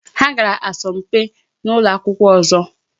Ha gara asọmpi na ụlọ akwụkwọ ọzọ.